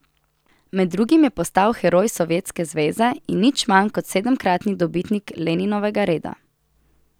Med drugim je postal heroj Sovjetske zveze in nič manj kot sedemkratni dobitnik Leninovega reda.